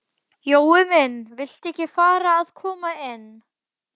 Jói minn. viltu ekki fara að koma inn?